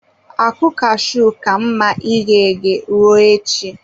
Akụ cashew ka mma ighe eghe, ruo echi.